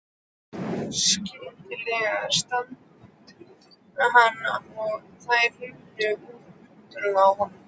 Skyndilega stansaði hann og þær runnu úr höndunum á honum.